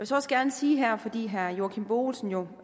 så også gerne sige her fordi herre joachim b olsen jo